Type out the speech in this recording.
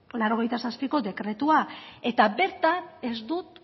laurogeita zazpiko dekretua eta bertan